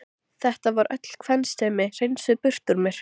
Það var öll kvensemi hreinsuð burt úr mér.